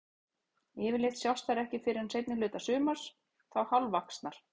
Yfirleitt sjást þær ekki fyrr en seinni hluta sumars, þá hálfvaxnar.